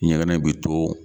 Ɲɛgɛnɛ bɛ to